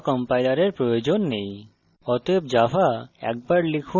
পাশাপাশি আমাদের java কম্পাইলারের প্রয়োজন নেই